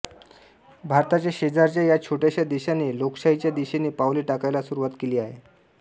भारताच्या शेजारच्या या छोट्याशा देशाने लोकशाहीच्या दिशेने पावले टाकायला सुरूवात केली आहे